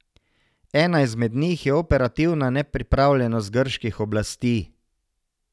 Ena izmed njih je operativna nepripravljenost grških oblasti.